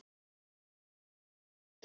Ég er einn.